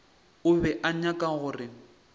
o be a nyaka gore